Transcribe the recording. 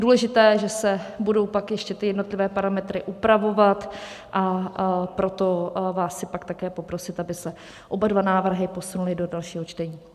Důležité je, že se budou pak ještě ty jednotlivé parametry upravovat, a proto vás chci pak také poprosit, aby se oba dva návrhy posunuly do dalšího čtení.